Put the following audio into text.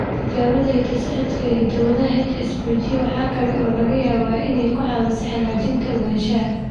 Tijaabada hidda-socodka ee hidda-wadaha HSPG labad waxa kale oo laga yaabaa inay ku caawiso xaqiijinta ogaanshaha.